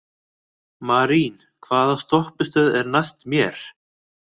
Marín, hvaða stoppistöð er næst mér?